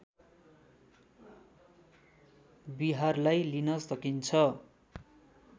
विहारलाई लिन सकिन्छ